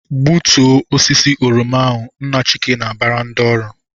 "Gbutuo osisi oroma ahụ!" Nna Chika na-abara ndị ọrụ.